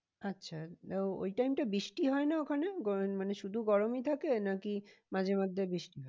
আচ্ছা ওই time টা বৃষ্টি হয় না ওখানে মানে শুধু গরমই থাকে নাকি মাঝে মধ্যে বৃষ্টি হয়?